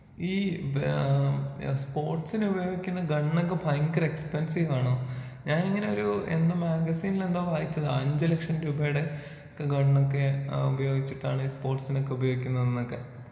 ഈ ഏഹ് സ്പോർട്സിനുപയോഗിക്കുന്ന ഗണ്ണൊക്കെ ഭയങ്കര എക്സ്പെൻസീവാണോ? ഞാനിങ്ങനെ ഒരൂ എന്തോ മാഗസിൻലെന്തോ വായിച്ചതാ അഞ്ച് ലക്ഷം രൂപയുടെ ആ ഗണ്ണൊക്കേ ഉപയോഗിചിട്ടാണ് ഈ സ്പോർട്സിനൊക്കെ ഉപയോഗിക്കുന്നതെന്നൊക്കെ.